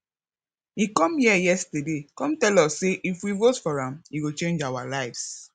he come here yesterday come tell us say if we vote for am he go change our lives